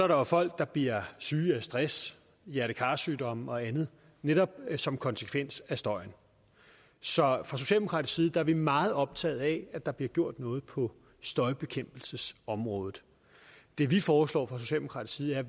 der folk der bliver syge af stress hjerte kar sygdomme og andet netop som konsekvens af støjen så fra socialdemokratisk side er vi meget optaget af at der bliver gjort noget på støjbekæmpelsesområdet det vi foreslår fra socialdemokratisk side er